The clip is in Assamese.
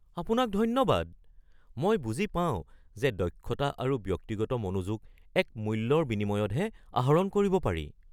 আপোনাক ধন্যবাদ! মই বুজি পাওঁ যে দক্ষতা আৰু ব্যক্তিগত মনোযোগ এক মূল্যৰ বিনিময়তহে আহৰণ কৰিব পাৰি।